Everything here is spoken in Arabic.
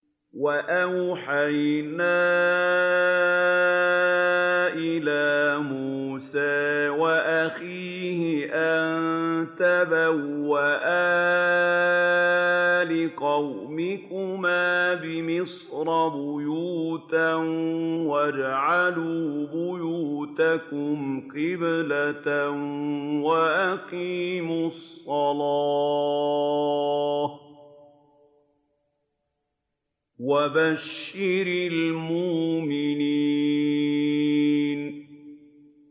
وَأَوْحَيْنَا إِلَىٰ مُوسَىٰ وَأَخِيهِ أَن تَبَوَّآ لِقَوْمِكُمَا بِمِصْرَ بُيُوتًا وَاجْعَلُوا بُيُوتَكُمْ قِبْلَةً وَأَقِيمُوا الصَّلَاةَ ۗ وَبَشِّرِ الْمُؤْمِنِينَ